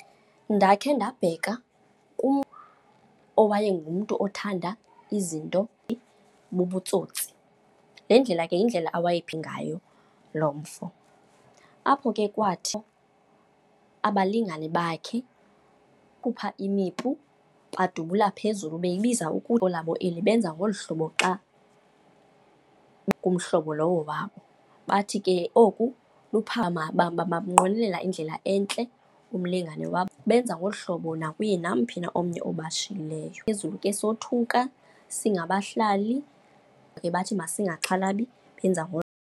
Ndakhe ndabheka kumntu uwayengumntu othanda izinto bubutsotsi. Le ndlela ke yindlela awayephi ngayo loo mfo. Apho ke kwathi abalingane bakhe bakhupha imipu badubula phezulu beyibiza labo eli, benza ngolu hlobo xa umhlobo lowo wabo. Bathi ke oku bamnqwenelela indlela entle umlingane wabo. Benza ngolu hlobo nakuye namphi na omnye obashiyileyo, phezulu ke sothuka singabahlali. Bathi masingaxhalabi, benza .